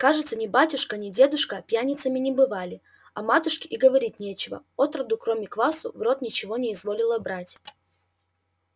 кажется ни батюшка ни дедушка пьяницами не бывали о матушке и говорить нечего отроду кроме квасу в рот ничего не изволила брать